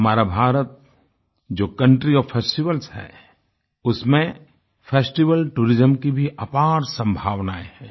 हमारा भारत जो country of festivals है उसमें फेस्टिवल टूरिज्म की भी अपार संभावनाएँ हैं